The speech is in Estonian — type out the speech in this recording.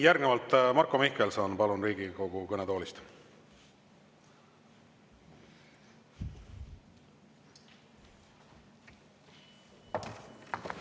Järgnevalt Marko Mihkelson, palun, Riigikogu kõnetoolist!